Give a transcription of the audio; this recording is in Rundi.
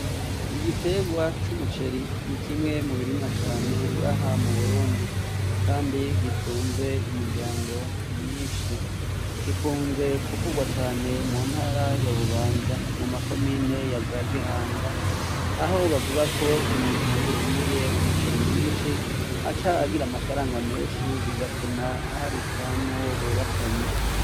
Igiterwa c'umuceri, ni kimwe mu birimwa cane ngaha mu Burundi. Kandi gitunze imiryango myinshi. Gikunze kuvugwa cane mu ntara ya Bubanza mu makomine ya za Gihanga, aho bavuga ko umuntu yimbuye umuceri mwinshi, aca agira amafaranga menshi bigatuma aharika n'uwo bubakanye.